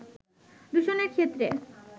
দূষণের ক্ষেত্রে